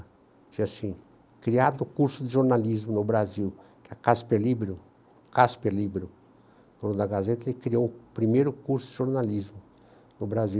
Tinha assim, criado o curso de jornalismo no Brasil, que a Casper Libro, Casper Libro, o dono da Gazeta, ele criou o primeiro curso de jornalismo no Brasil.